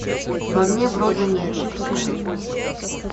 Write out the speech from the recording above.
в огне брода нет запускай